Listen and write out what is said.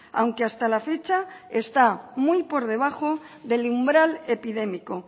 aunque hasta la fecha está muy por debajo del umbral epidémico